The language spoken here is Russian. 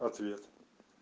ответ